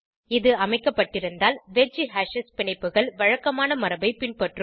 இது அமைக்கப்பட்டிருந்தால் wedge hashes பிணைப்புகள் வழக்கமான மரபை பின்பற்றும்